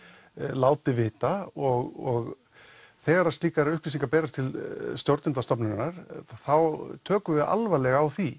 láti vita og þegar slíkar upplýsingar berast til stjórnenda stofnunarinnar þá tökum við alvarlega á því